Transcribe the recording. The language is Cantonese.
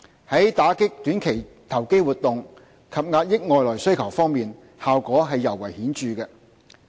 在打擊短期投機活動及遏抑外來需求方面，效果尤為顯著。